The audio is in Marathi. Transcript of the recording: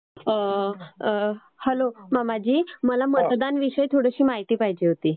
अं, अं, हॅलो मामाजी. मला मतदानविषयी थोडीशी माहिती पाहिजे होती.